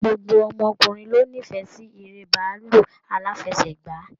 Gbogbo ọmọkùnrin lo n'ifẹ sí èrè bàálù alafẹ̀sẹ̀gba.